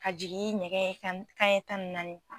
Ka jigin nɛgɛ kan ɲɛ tan ni naani.